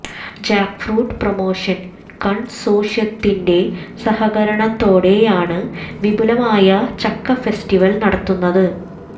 jackfruit promotion കൺസോർഷ്യത്തിന്റെ സഹകരണത്തോടെയാണ് വിപുലമായ ചക്ക ഫെസ്റ്റിവൽ നടത്തുന്നത്